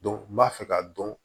n b'a fɛ k'a dɔn